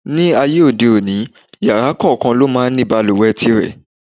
Ní ayé òde òní, yàrá kòókan máà ń ní balùwẹ̀ tirẹ̀.